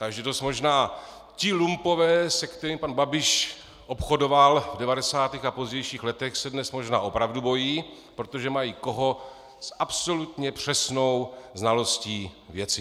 Takže dost možná ti lumpové, se kterými pan Babiš obchodoval v 90. a pozdějších letech, se dnes možná opravdu bojí, protože mají někoho s absolutně přesnou znalostí věci.